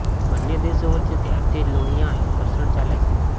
બંને દેશો વચ્ચે ત્યારથી જ લોહિયાળ ઘર્ષણ ચાલે છે